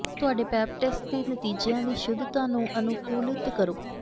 ਤੁਹਾਡੇ pap test ਦੇ ਨਤੀਜਿਆਂ ਦੀ ਸ਼ੁੱਧਤਾ ਨੂੰ ਅਨੁਕੂਲਿਤ ਕਰੋ